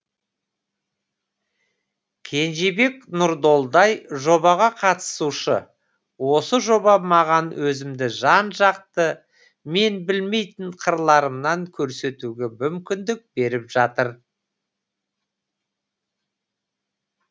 кенжебек нұрдолдай жобаға қатысушы осы жоба маған өзімді жан жақты мен білмейтін қырларымнан көрсетуге мүмкіндік беріп жатыр